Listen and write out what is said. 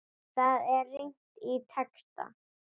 Þar er rýnt í texta.